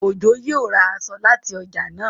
Ojo yíò rá èso láti ọjà náa.